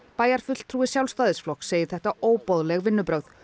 bæjarfulltrúi Sjálfstæðisflokks segir þetta óboðleg vinnubrögð